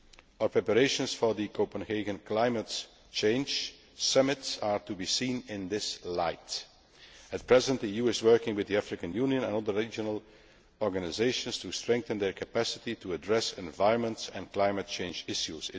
Our preparations for the Copenhagen Climate Change Summit are to be seen in this light. At present, the EU is working with the African Union and other regional organisations to strengthen their capacity to address environment and climate change issues.